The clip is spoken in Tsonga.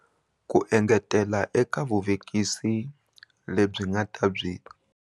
Ku engetela eka vuvekisi lebyi va nga ta byi.